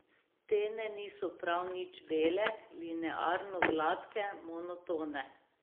Stene niso prav nič bele, linearno gladke, monotone.